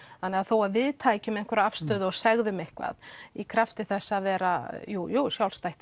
þannig að þó að við tækjum einhverja afstöðu og segðum eitthvað í krafti þess að vera